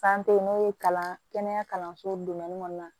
n'o ye kalan kɛnɛya kalanso kɔnɔna na